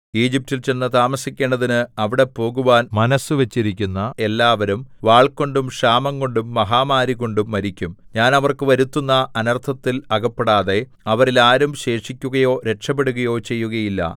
ഈജിപ്റ്റിൽ ചെന്നു താമസിക്കേണ്ടതിന് അവിടെ പോകുവാൻ മനസ്സു വച്ചിരിക്കുന്ന എല്ലാവരും വാൾകൊണ്ടും ക്ഷാമംകൊണ്ടും മഹാമാരികൊണ്ടും മരിക്കും ഞാൻ അവർക്ക് വരുത്തുന്ന അനർത്ഥത്തിൽ അകപ്പെടാതെ അവരിൽ ആരും ശേഷിക്കുകയോ രക്ഷപെടുകയോ ചെയ്യുകയില്ല